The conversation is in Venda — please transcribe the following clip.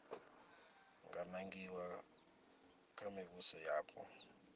nga nangiwa kha mivhuso yapo